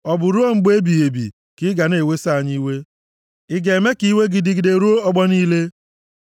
Ọ bụ ruo mgbe ebighị ebi, ka ị ga na-eweso anyị iwe: Ị ga-eme ka iwe gị dịgide ruo ọgbọ niile?